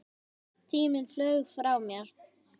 Tíminn flaug frá mér.